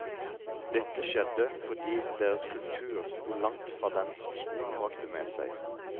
Dette skjedde fordi deres kultur stod langt fra den som skolen bragte med seg.